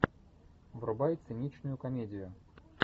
врубай циничную комедию